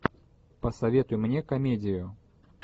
посоветуй мне комедию